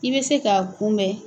I bɛ se k'a kunbɛn